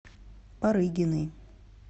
парыгиной